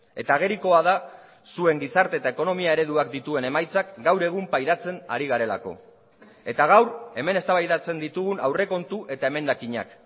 eta agerikoa da zuen gizarte eta ekonomia ereduak dituen emaitzak gaur egun pairatzen ari garelako eta gaur hemen eztabaidatzen ditugun aurrekontu eta emendakinak